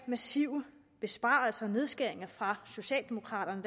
massive besparelser og nedskæringer fra socialdemokraterne